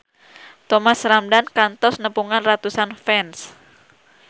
Thomas Ramdhan kantos nepungan ratusan fans